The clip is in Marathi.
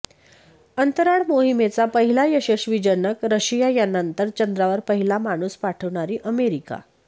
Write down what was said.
अंतराळ मोहिमेचा पहिला यशस्वी जनक रशिया त्यानंतर चंद्रावर पहिला माणूस पाठवणारी अमेरिका